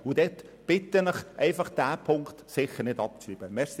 Deshalb bitte ich Sie, diesen Punkt sicher nicht abzuschreiben.